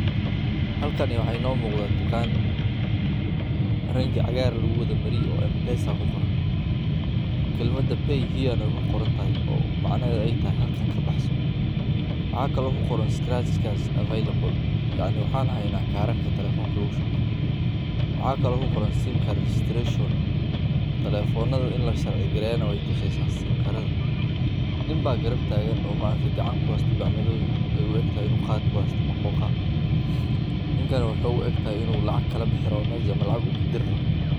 M-Pesa waa adeeg lacag la'aan ah oo ay soo saartay shirkadda Safaricom ee Kenya, kaas oo u oggolaaday dadka inay gudbiyaan ama qaataan lacag adigoo isticmaalaya taleefoonka gacanta, waxaana noqday mid ka mid ah qalabka ugu muhiimsan ee loo isticmaalo maalgelinta bulshada gaar ayan dadka aan haysan bangiyo, waxayna fududeysaa wax kala iibsigga, bixinta biilasha, iyo lacag ururinta, sidoo kale waxay kaalin muhiim ah.